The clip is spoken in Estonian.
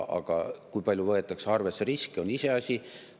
Aga kui palju riske arvesse võetakse, on iseasi.